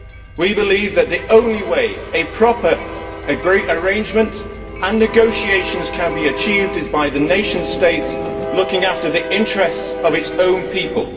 We believe that the only way a proper arrangement and negotiations can be achieved is by the nation state looking after the interests of its own people.